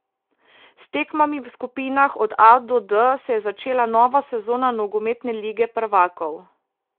S tekmami v skupinah od A do D se je začela nova sezona nogometne Lige prvakov.